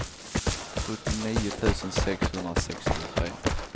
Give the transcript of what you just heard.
sjuttionio tusen sexhundrasextiotre